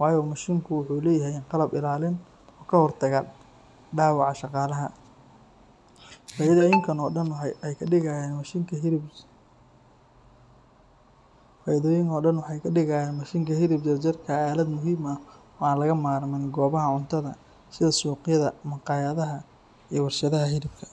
waayo mashiinka wuxuu leeyahay qalab ilaalin ah oo ka hortaga dhaawaca shaqaalaha. Faa’iidooyinkan oo dhan waxay ka dhigayaan mashiinka hilib jarjarka aalad muhiim ah oo aan laga maarmin goobaha cuntada sida suuqyada, maqaayadaha iyo warshadaha hilibka.